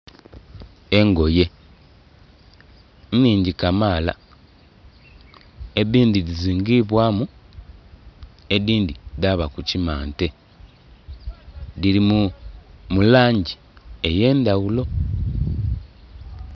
Engoye nhingi kamaala, edindhi dhizingibwamu edindhi dhaba ku kimante. Dhiri mu langi ey'endhaghulo.